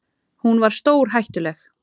Hún var stórhættuleg.